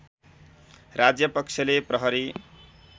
राज्यपक्षले प्रहरी